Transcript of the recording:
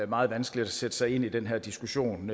meget vanskeligt at sætte sig ind i den her diskussion